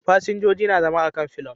Fasinjoji suna zama a kan fillion